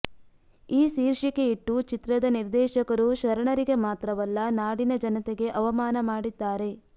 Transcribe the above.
ಈ ಶೀರ್ಷಿಕೆ ಇಟ್ಟು ಚಿತ್ರದ ನಿರ್ದೇಶಕರು ಶರಣರಿಗೆ ಮಾತ್ರವಲ್ಲ ನಾಡಿನ ಜನತೆಗೆ ಅವಮಾನ ಮಾಡಿದ್ದಾರೆ